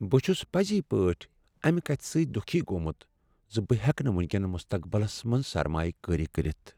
بہ چھُس پزی پٲٹھۍ امہِ كتھہِ سٕتۍ دُكھی گومٗت زِ بہٕ ہیکہٕ نہٕ ونکین مستقبلس منز سرمایہ کٲری کٔرتھ۔